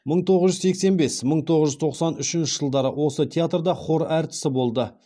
мың тоғыз жүз сексен бес мың тоғыз жүз тоқсан үшінші жылдары осы театрда хор әртісі болды